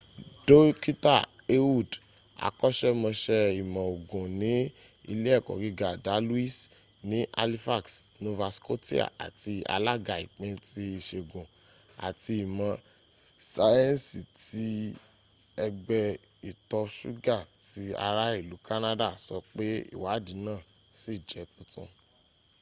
dókítà ehud akọ́ṣẹmọṣẹ́ ìmọ̀ ogun ní ilé ẹ̀kọ́ gíga dalhousie ní halifax nova scotia àti alága ìpín ti ìṣègùn àti ìmọ̀ síẹ̀nsì ti ẹgbé ìtọ ṣúggà ti ará ìlú canada sọ pé ìwádìí náà ṣì jẹ́ tuntun